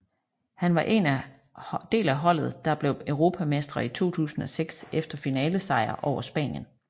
Han var en del af holdet der blev europamestre i 2006 efter finalesejr over Spanien